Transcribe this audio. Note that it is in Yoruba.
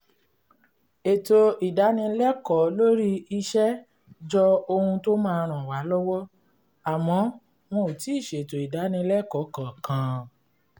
ètò ìdánilẹ́kọ̀ọ́ lórí iṣẹ́ jọ ohun tó máa ràn wá lọ́wọ́ àmọ́ wọn ò tíì ṣètò ìdánilẹ́kọ̀ọ́ kankan